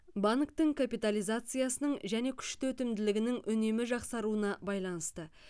банктің капитализациясының және күшті өтімділігінің үнемі жақсаруына байланысты